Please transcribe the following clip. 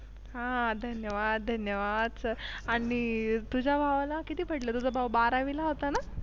हा धन्यवाद. धन्यवाद आणि तुझ्या भावाला किती पडले? तुझा भाऊ बारावीला होता ना?